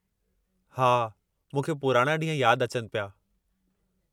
हा, मूंखे पुराणा ॾींहं यादि अचनि पिया।